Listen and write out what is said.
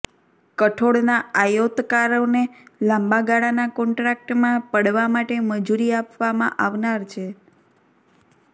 કઠોળના આયોતકારોને લાંબા ગાળાના કોન્ટ્રાકટમાં પડવા માટે મજુરી આપવામાં આવનાર છે